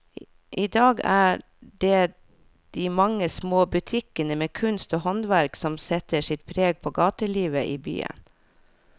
I dag er det de mange små butikkene med kunst og håndverk som setter sitt preg på gatelivet i byen.